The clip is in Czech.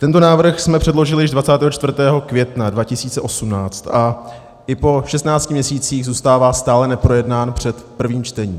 Tento návrh jsme předložili již 24. května 2018 a i po 16 měsících zůstává stále neprojednán před prvním čtením.